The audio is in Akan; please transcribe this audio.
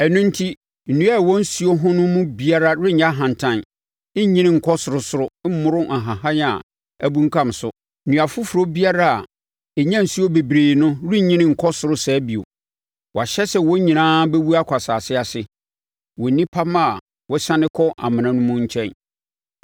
Ɛno enti, nnua a ɛwɔ nsuo ho no mu biara renyɛ ahantan, nnyini nkɔ sorosoro, mmoro nhahan a abunkam so. Nnua foforɔ biara a ɛnya nsuo bebree no rennyini nkɔ soro saa bio. Wɔahyɛ sɛ wɔn nyinaa bɛwu akɔ asase ase, wɔ nnipa mma a wɔsiane kɔ amena mu no nkyɛn.